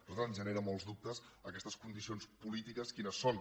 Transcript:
a nosaltres ens genera molts dubtes aquestes condicions polítiques quines són